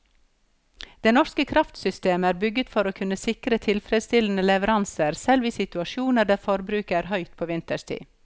Det norske kraftsystemet er bygget for å kunne sikre tilfredsstillende leveranser selv i situasjoner der forbruket er høyt på vinterstid.